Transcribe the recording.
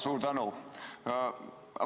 Suur tänu!